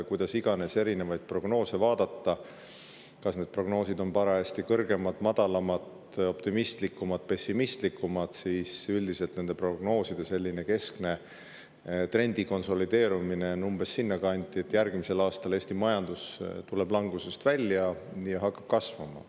Kuidas iganes erinevaid prognoose vaadata, kas need prognoosid on parajasti kõrgemad, madalamad, optimistlikumad, pessimistlikumad, aga üldiselt nende prognooside keskse trendi konsolideerumine jääb umbes sinna kanti, et järgmisel aastal tuleb Eesti majandus langusest välja ja hakkab kasvama.